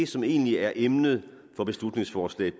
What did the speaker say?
som egentlig er emnet for beslutningsforslag